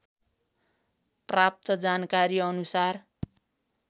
प्राप्त जानकारी अनुसार